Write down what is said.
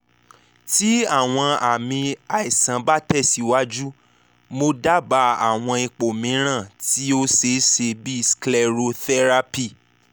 ti awọn aami aisan ba tẹsiwaju mo daba awọn ipo miiran ti o ṣeeṣe bii sclerotherapy